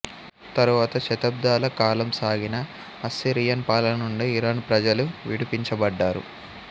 తరువాత శతాబ్ధాల కాలం సాగిన అస్సిరియన్ పాలన నుండి ఇరాన్ ప్రజలు విడిపించబడ్డారు